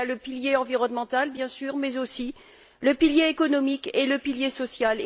Le pilier environnemental, bien sûr, mais aussi le pilier économique et le pilier social.